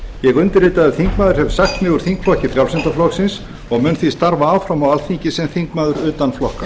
ég undirritaður þingmaður hef sagt mig úr þingflokki frjálslynda flokksins og mun því starfa áfram á alþingi sem þingmaður utan flokka